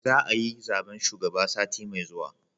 Za a yi zaben shugaba sati mai zuwa